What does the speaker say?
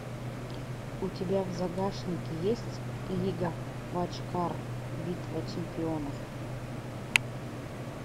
у тебя в загашнике есть лига вотчкар битва чемпионов